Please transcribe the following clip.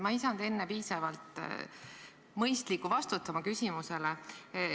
Ma ei saanud enne piisavalt mõistlikku vastust oma küsimusele.